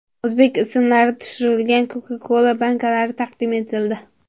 O‘zbek ismlari tushirilgan Coca-Cola bankalari taqdim etildi.